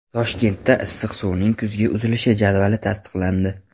Toshkentda issiq suvning kuzgi uzilishi jadvali tasdiqlandi.